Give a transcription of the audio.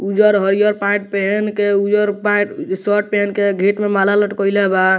उजर हरियर पैंट पहेन के उजर पैंट शर्ट पहेन के गेट में माला लटकईले बा।